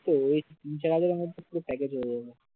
তো ওই যারা যারা package হয়ে যাবে